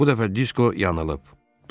Bu dəfə Disko yanılıb.